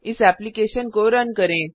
इस एप्लिकेशन को रन करें